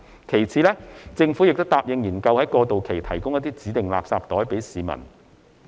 其次，政府亦答應研究在過渡期向市民提供指定垃圾袋。